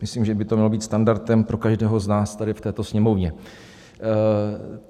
Myslím, že by to mělo být standardem pro každého z nás tady v této Sněmovně.